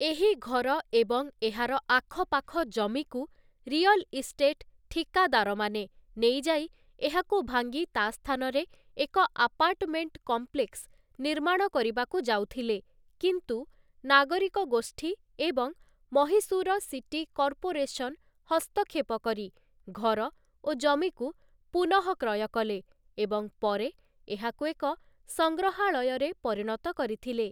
ଏହି ଘର ଏବଂ ଏହାର ଆଖପାଖ ଜମିକୁ ରିୟଲ ଇଷ୍ଟେଟ ଠିକାଦାରମାନେ ନେଇଯାଇ ଏହାକୁ ଭାଙ୍ଗି ତା ସ୍ଥାନରେ ଏକ ଆପାର୍ଟମେଣ୍ଟ କମ୍ପ୍ଲେକ୍ସ ନିର୍ମାଣ କରିବାକୁ ଯାଉଥିଲେ, କିନ୍ତୁ ନାଗରିକ ଗୋଷ୍ଠୀ ଏବଂ ମହୀଶୂର ସିଟି କର୍ପୋରେସନ ହସ୍ତକ୍ଷେପ କରି ଘର ଓ ଜମିକୁ ପୁନଃକ୍ରୟ କଲେ ଏବଂ ପରେ ଏହାକୁ ଏକ ସଂଗ୍ରହାଳୟରେ ପରିଣତ କରିଥିଲେ ।